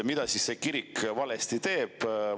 Mida see kirik valesti teeb?